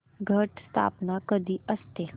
घट स्थापना कधी असते